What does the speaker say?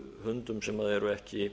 hundum sem eru ekki